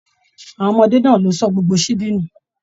Àwọn ọmọdé náà ló sọ gbogbo síbí nu.